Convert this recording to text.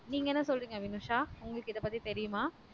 நீங்க என்ன சொல்லரிங்க வினுஷா உங்களுக்கு இது பத்தி தெரியுமா